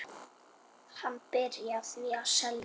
Hann byrjaði því að selja.